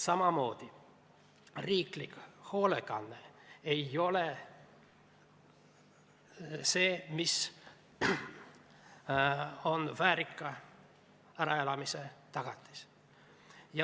Samamoodi pole riiklik hoolekanne väärika äraelamise tagatis.